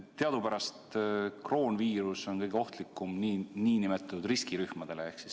Teadupärast kroonviirus on kõige ohtlikum nn riskirühmadele.